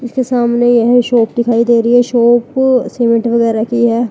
पीछे सामने यह शॉप दिखाई दे रही है शॉप सीमेंट वगैरह की है।